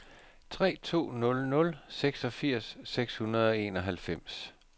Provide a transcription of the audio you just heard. tre to nul nul seksogfirs seks hundrede og enoghalvfems